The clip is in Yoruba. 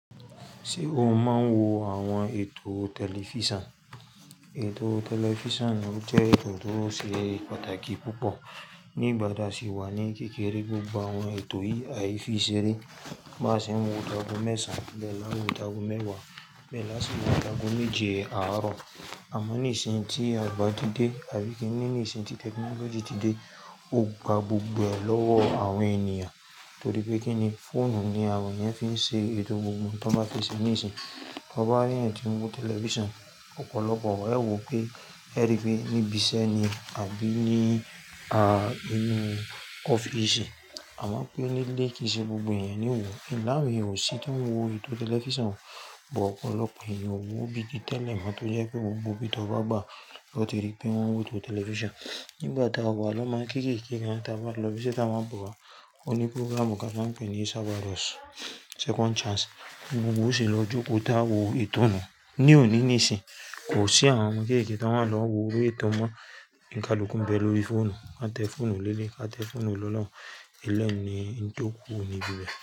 Ṣé o máa ń wo àwọn ètò tẹlifíṣàn? Ètò tẹlifíṣàn jẹ́ ètò tó ṣe pàtàkì púpọ̀. Nígbà tí a sì wà ní kékeré, gbogbo àwọn ètò yìí á fi ṣeré. Bá ṣe ń wo ìdágun mẹ́sàn án, lẹ́ẹ́ la wò ìdágun mẹ́wàá, lẹ́ẹ́ la sì wò ìdágun méje àárọ̀. Àmọ́ nísinsìnyí tí àgbà ti dé àbí kí n ní nísinsìnyí tí tẹknọ́lọ́jì ti dé, ó gba gbogbo ẹ̀ lọ́wọ́ àwọn ènìyàn. Torí pé kí ni, fóònù ni àwọn ènìyàn fi ń ṣe ètò gbogbo tó bá ti ṣe níìsín. Tọ bá rí ẹ̀yin tí ń wo tẹlifíṣàn ọ̀pọ̀lọpọ̀, ẹ wò pé ẹ rí i níbi iṣẹ́ ni àbí ní ah inú ọ́fíìsì. Àmọ́ pé nílé, kì í ṣe gbogbo ènìyàn ni ó wo. Ìláwùnyí ò sì fún ń wo ètò tẹlifíṣàn. Bọ̀ ọ̀pọ̀lọpọ̀ ènìyàn wò bíi tẹ́lẹ̀ mọ́ tó jẹ́ pé òun gbó bí tọ bá gbà lọ tìrì pé wọ́n ń wò ètò tẹlifíṣàn. Nígbà táa wà ló máa ń kéékèé ká, táa bá lọ ibi tí wọ́n máa ń bọ̀ wá, ó ní pírọ́gràmù kí a máa pè é ní "Saba Ross Second Chance" ló bu sí i lọ jókòó tá a wò ìtò náà. Ní òní níìsín, kò sí àwọn ọmọ kéékèé tó máa lọ wo eré ìtàn mọ́. Ìkálukù ń bẹ lórí fóònù. A tẹ fóònù lélẹ̀, a tẹ fóònù lọ́nà. Ilẹ̀ nìí, tó kú oníbi rẹ̀.